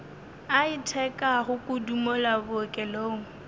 a itekago kudu mola bookelong